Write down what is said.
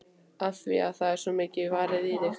Af því að það er svo mikið varið í þig.